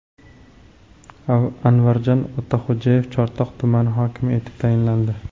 Anvarjon Otaxo‘jayev Chortoq tumani hokimi etib tayinlandi.